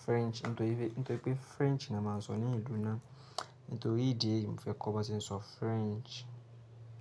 French, nítorí pé, nítorí pé French ni a máa ń sọ ní ìlú náà. Nítorí idi eyìí mo fẹ́ kọ́ bo ṣe ń sọ French.